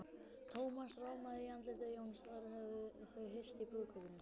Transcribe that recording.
Thomas rámaði í andlit Jóns, þeir höfðu hist í brúðkaupinu.